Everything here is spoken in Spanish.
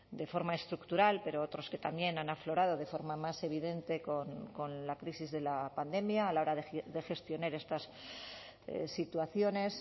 de forma estructural pero otros que también han aflorado de forma más evidente con la crisis de la pandemia a la hora de gestionar estas situaciones